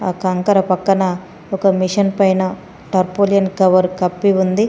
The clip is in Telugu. కంకర పక్కన ఒక మిషన్ పైన టర్పోలియన్ కవర్ కప్పి ఉంది.